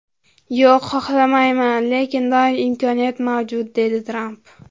Yo‘q, xohlamayman, lekin doim imkoniyat mavjud”, deydi Tramp.